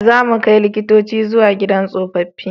Za mu kai likitoci zuwa gidan tsofaffi